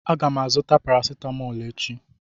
Aga m azụta parasitamol echi.